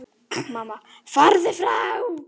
Mamma: Farðu frá!